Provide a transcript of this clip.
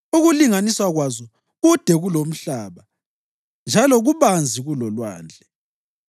Ukulinganiswa kwazo kude kulomhlaba njalo kubanzi kulolwandle.